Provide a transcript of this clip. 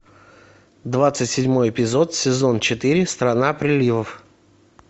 двадцать седьмой эпизод сезон четыре страна приливов